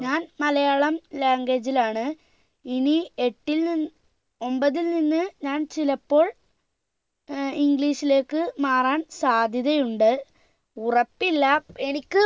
ഞാൻ മലയാളം language ലാണ് ഇനി എട്ടിൽ നിന്ന് ഒമ്പതിൽ നിന്ന് ഞാൻ ചിലപ്പോൾ ഏർ english ലേക്ക് മാറാൻ സാധ്യതയുണ്ട് ഉറപ്പില്ല എനിക്ക്